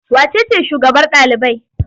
Wace ce shugabar ɗalibai?